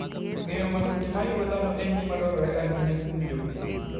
Ng'eyo masiche ma yudo dhano en gima dwarore ahinya kuom jopith.